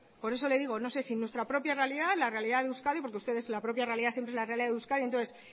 por eso le digo no sé si nuestra propia realidad la realidad de euskadi porque ustedes la propia realidad siempre es la realidad de euskadi entonces